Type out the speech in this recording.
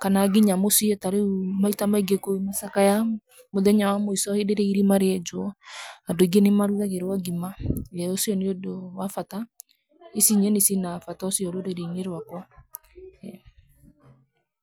kana nginya mũciĩ tarĩu maita maingĩ kwĩna macakaya mũthenya wa mũico hĩndĩ irĩa irima rĩenjwo andũ aingĩ nĩ marugagĩrwo ngima na ũcio nĩ undũ wa bata. Ici nyeni cina bata ũcio rũrĩri-inĩ rwakwa.